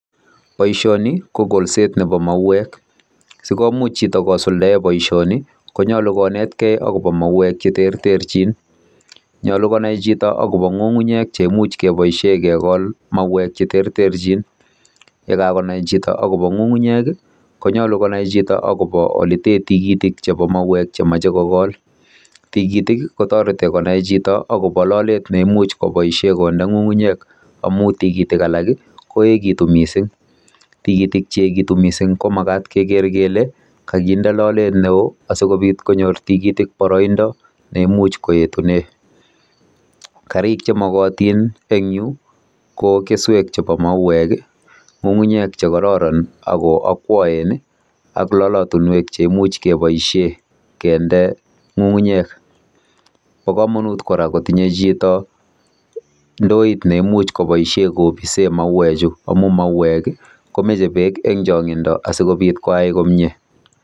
Boisoni, ko kolset nebo mauek. Sikomuch chito kosuldae boisoni, konyolu konetekei kobo mauek che terterchin. Nyolu konai chito akobo ngungunyek cheimuch kebosie kekol mauek che terterchin. Yekakonai chito akobo ng'ung'unyek, konyolu konai chito akobo ole tee tigitik chebo mauek chemache kokol. Tigitik, kotoreti konai chito akobo lolet neimuch koboisie konde ng'ung'unyek. Amuu tigitik alak koekitu missing. Tigitik cheekitu missing ko makat keker kele, kakinde lolet ne oo asikobit konyor tigitik boroindo neimuch koetunee. Karik che magatin eng yu, ko keswek chebo mauek, ng'ung'unyek che kararan ako akwaen, ak lalatunwek cheimuch keboisie kende ng'ung'unyek. Bo kamanut kora kotinye chito ndoit neimuch kopise mauek chu. Amu mauek, komeche beek eng changindo asikobit koai komyee.